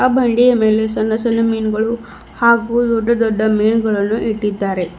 ಆ ಬಂಡಿಯ ಮೇಲೆ ಸಣ್ಣ ಸಣ್ಣ ಮೀನುಗಳು ಹಾಗೂ ದೊಡ್ಡ ದೊಡ್ಡ ಮೀನುಗಳನ್ನು ಇಟ್ಟಿದ್ದಾರೆ.